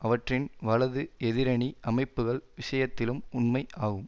அவற்றின் வலது எதிரணி அமைப்புகள் விஷயத்திலும் உண்மை ஆகும்